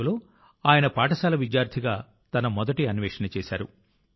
1964 లో ఆయన పాఠశాల విద్యార్థిగా తన మొదటి అన్వేషణ చేశారు